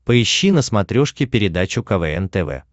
поищи на смотрешке передачу квн тв